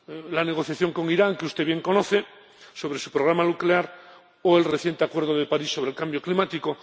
La negociación con Irán que usted bien conoce— sobre su programa nuclear o el reciente Acuerdo de París sobre el Cambio Climático.